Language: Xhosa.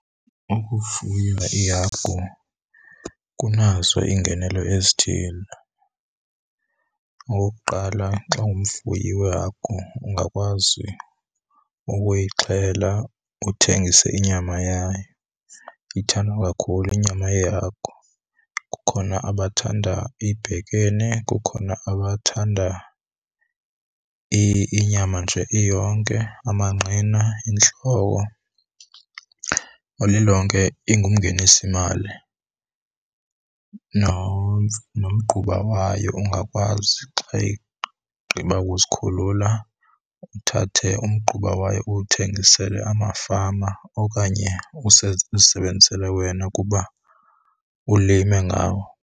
Ukufuya ihagu kunazo iingenelo ezithile. Okokuqala, xa ungumfuyi weehagu ungakwazi ukuyixhela, uthengise inyama yayo. Ithandwa kakhulu inyama yehagu, kukhona abathanda ibhekene, kukhona abathanda inyama nje iyonke, amanqina, intloko. Ngelilonke ingumngenisimali. Nomgquba wayo ungakwazi xa igqiba kuzikhulula uthathe umgquba wayo uwuthengisele amafama okanye uzisebenzisele wena kuba ulime ngawo.